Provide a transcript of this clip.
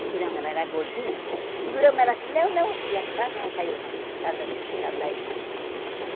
seguramos ela, ela era gordinha, seguramos ela assim, não, não, e quase ela caiu em mar, por causa disso, por causa da irmã lá em cima.